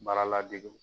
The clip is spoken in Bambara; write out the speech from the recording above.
Baara ladege